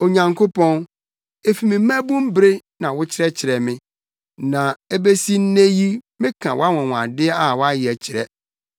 Onyankopɔn, efi me mmabun bere na wokyerɛkyerɛɛ me, na ebesi nnɛ yi meka wʼanwonwade a woayɛ kyerɛ.